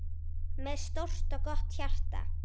Með stórt og gott hjarta.